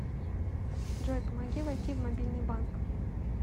джой помоги войти в мобильный банк